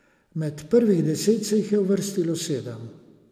Med prvih deset se jih je uvrstilo sedem.